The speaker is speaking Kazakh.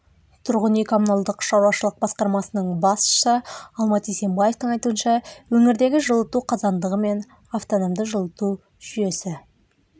тұрғын үй-коммуналдық шаруашылық басқармасының басшысы алмат исенбаевтың айтуынша өңірдегі жылыту қазандығы мен автономды жылыту жүйесі